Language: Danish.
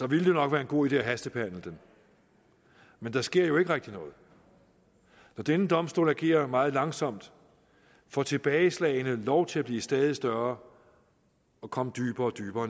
ville det nok være en god idé at hastebehandle den men der sker jo ikke rigtig noget når denne domstol agerer meget langsomt får tilbageslagene lov til at blive stadig større og komme dybere og dybere